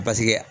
Paseke